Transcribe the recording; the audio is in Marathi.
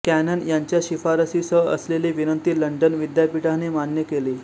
कॅनन यांच्या शिफारशीसह असलेली विनंती लंडन विद्यापीठाने मान्य केली